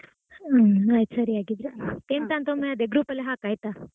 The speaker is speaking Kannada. ಹ್ಮ್ ಆಯ್ತು ಸರಿ ಹಾಗಿದ್ರೆ ಎಂತಂತ ಒಮ್ಮೆ ಅದೇ group ಅಲ್ಲಿ ಹಾಕಾಯ್ತ?